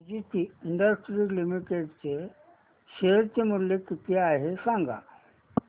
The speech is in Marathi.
सुदिति इंडस्ट्रीज लिमिटेड चे शेअर मूल्य किती आहे सांगा